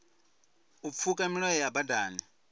u pfuka milayo ya badani